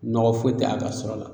Nɔgɔ foyi te a ka sɔrɔ la